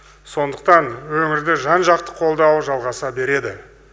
сондықтан өңірді жан жақты қолдау жалғаса береді